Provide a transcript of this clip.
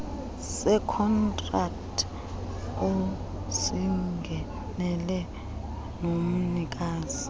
sekhontrakthi osingenele nomnikazi